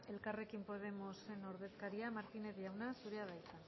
elkarrekin podemosen ordezkaria martínez jauna zurea da hitza